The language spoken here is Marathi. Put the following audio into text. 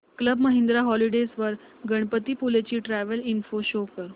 क्लब महिंद्रा हॉलिडेज वर गणपतीपुळे ची ट्रॅवल इन्फो शो कर